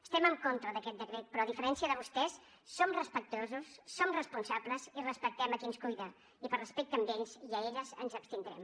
estem en contra d’aquest decret però a diferència de vostès som respectuosos som responsables i respectem a qui ens cuida i per respecte a ells i a elles ens abstindrem